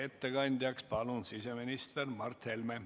Ettekandjaks palun siseminister Mart Helme.